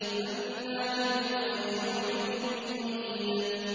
مَّنَّاعٍ لِّلْخَيْرِ مُعْتَدٍ مُّرِيبٍ